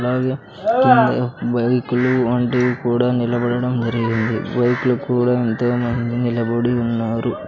అలాగే కింద బైకులు వంటివి కూడా నిలబడడం జరిగినది బైక్లు కూడా ఎంతోమంది నిలబడి ఉన్నారు.